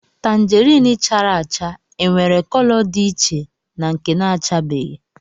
Tangerine chara acha e nwere cọlọ dị iche na nke na-achabeghi